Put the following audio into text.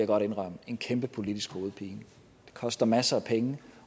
godt indrømme en kæmpe politisk hovedpine det koster masser af penge